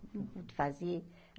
Não pude fazer.